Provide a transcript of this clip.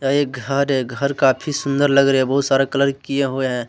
एक घर है घर काफी सुंदर लग रहे हैं बहुत सारा कलर किया हुआ हैं।